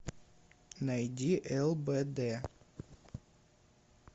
найди лбд